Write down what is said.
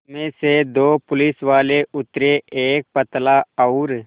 उसमें से दो पुलिसवाले उतरे एक पतला और